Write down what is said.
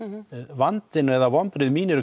vandinn eða vonbrigði mín eru